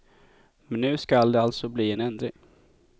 Men nu skall det alltså bli en ändring.